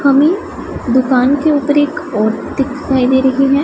हमें दुकान के ऊपर एक औ दिखाई दे रही हैं।